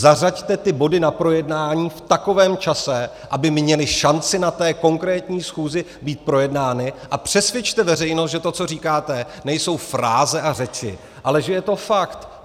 Zařaďte ty body na projednání v takovém čase, aby měly šanci na té konkrétní schůzi být projednány, a přesvědčte veřejnost, že to, co říkáte, nejsou fráze a řeči, ale že je to fakt.